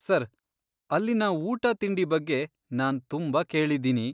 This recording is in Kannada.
ಸರ್, ಅಲ್ಲಿನ ಊಟ ತಿಂಡಿ ಬಗ್ಗೆ ನಾನ್ ತುಂಬಾ ಕೇಳಿದ್ದೀನಿ.